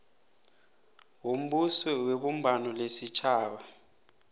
wombuso webumbano lesitjhaba